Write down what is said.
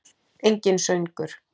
Enginn söngur.